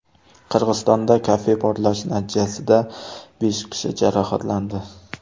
Qirg‘izistonda kafe portlashi natijasida besh kishi jarohatlandi.